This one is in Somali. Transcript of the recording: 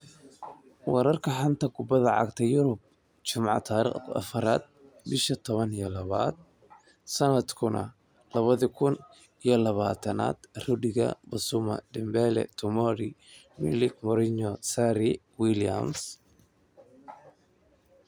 Wararka xanta kubada cagta Yurub Jimce tariq afar bisha toban iyo labad sanadka labada kun iyo labatanaad: Rudiger, Bissouma, Dembele, Tomori, Milik, Mourinho, Zaha, Williams